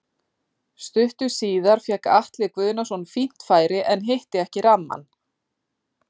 Stuttu síðar fékk Atli Guðnason fínt færi en hitti ekki rammann.